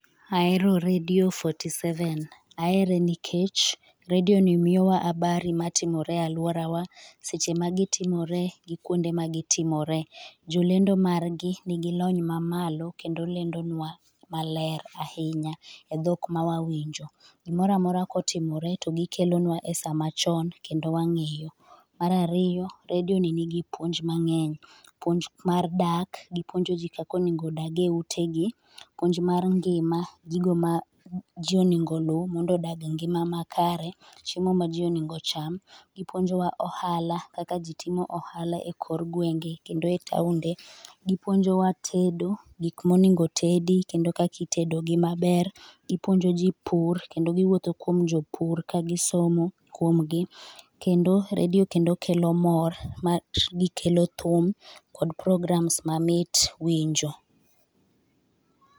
Ahero redio forty seven. Ahere nikech redioni miyowa habari matimore e aluorawa, seche magitimore kod kuonde magitimore. Jolendogi nigi lony mamalo kendo lendo nua maler ahinya e dhok mawawinjo. Gimoro amora kotimore to gikelonua e sama chon kendo wang'eyo. Mar ariyo, redio ni nigi puonj mang'eny , puonj mar dak gi puonjo ji kaka onego odagi eutegi puonj mar ngima, gigo maji onego oluw mondo odag e ngima makare, chiemo maji onego ocham, gipuonjowa ohala kaka ji timo ohala e kor gwenge kendo e taonde , gipuonjowa tedo , gik monego otedi kendo kaka itedo gi maber. Ipuonjo ji pur kendo giwuotho kuom jopur kagisomo kuom gi. Kendo e redio kendo kelo mor magikelo thum kod programs mamit winjo.